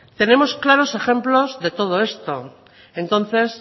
tenemos claros ejemplos de todo esto entonces